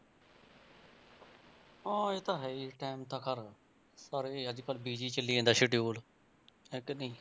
ਹਾਂ ਇਹ ਤਾਂ ਹੈ ਹੀ ਇਸ ਤਾਂ time ਤਾਂ ਸਾਰੇ ਸਾਰੇ ਹੀ ਅੱਜ ਕੱਲ੍ਹ busy ਚੱਲੀ ਜਾਂਦਾ schedule ਹੈ ਕਿ ਨਹੀਂ।